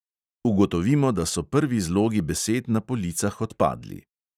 Ugotovimo, da so prvi zlogi besed na policah odpadli.